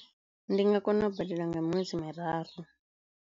Ndi nga kona u badela nga miṅwedzi miraru.